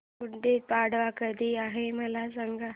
गुढी पाडवा कधी आहे मला सांग